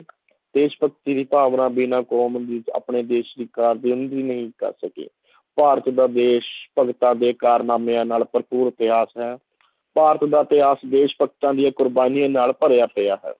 ਦੇਸ਼ ਭਗਤੀ ਦੀ ਭਾਵਨਾ ਬਿਨਾਂ ਕੌਮ ਦੇ ਵਿੱਚ ਆਪਣੇ ਦੇਸ਼ ਦੀ ਨਹੀਂ ਕਰ ਸਕੇ ਭਾਰਤ ਦਾ ਦੇਸ਼ ਭਗਤਾਂ ਦੇ ਕਾਰਨਾਮਿਆਂ ਨਾਲ ਭਰਪੂਰ ਇਤਿਹਾਸ ਹੈ ਭਾਰਤ ਦਾ ਇਤਿਹਾਸ ਦੇਸ਼ ਭਗਤਾਂ ਦੀਆਂ ਕੁਰਬਾਨੀਆਂ ਨਾਲ ਭਰਿਆ ਪਿਆ ਹੈ।